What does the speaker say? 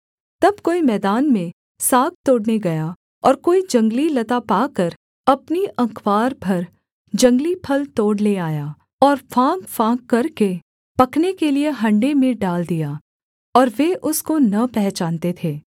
तब कोई मैदान में साग तोड़ने गया और कोई जंगली लता पाकर अपनी अँकवार भर जंगली फल तोड़ ले आया और फाँकफाँक करके पकने के लिये हण्डे में डाल दिया और वे उसको न पहचानते थे